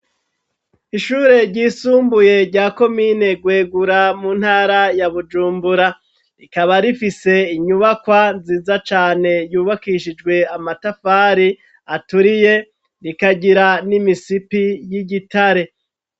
Ishure ryisumbuye rya komine gwegura mu ntara ya bujumbura, rikaba rifise inyubakwa nziza cane yubakishijwe amatafari aturiye rikagira n'imisipi y'igitare.